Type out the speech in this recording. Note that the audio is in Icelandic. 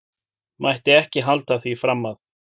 Mætti ekki halda því fram að.